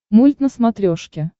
мульт на смотрешке